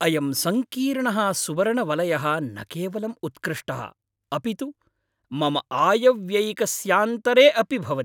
अयं सङ्कीर्णः सुवर्णवलयः न केवलम् उत्कृष्टः, अपि तु मम आयव्ययिकस्यान्तरे अपि भवति।